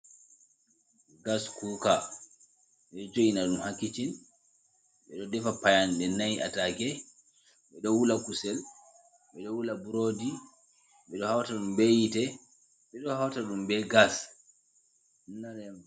Gas kuka, beɗo jo'ina ɗum hakicin ɓeɗo defa payanɗe na'i atake, ɓeɗo wula kusel, ɓeɗo wula buroodi, beɗo hauta ɗum be yite, beɗo hauta ɗum be gas.